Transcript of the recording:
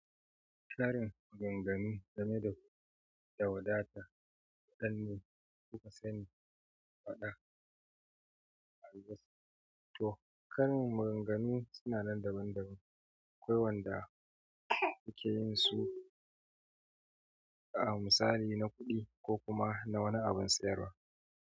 Karin maganganu game da, da wadata, wannan suka sani faɗa albasa. To, karin maganganu suna nan daban-daban. Akwai wanda suke yin su a misali na kuɗi ko kuma na wani abin sayarwa.